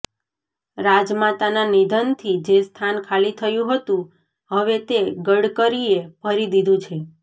રાજમાતાના નિધનથી જે સ્થાન ખાલી થયું હતું હવે તે ગડકરીએ ભરી દીધું છે